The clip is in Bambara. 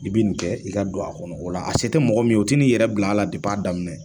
I bɛ nin kɛ i ka don a kɔnɔ, o la a se tɛ mɔgɔ min ye o tɛ ni yɛrɛ bila a la a daminɛ.